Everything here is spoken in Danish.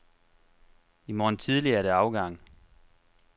I morgen tidlig er det afgang.